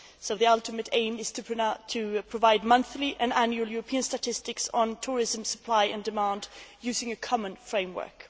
So the ultimate aim is to provide monthly and annual European statistics on tourism supply and demand using a common framework.